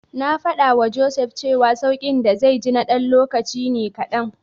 Na faɗawa Joseph cewa sauƙin da zai ji na ɗan lokaci ne kaɗan.